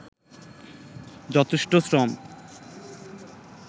যথেষ্ট শ্রম